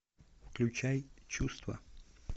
включай чувства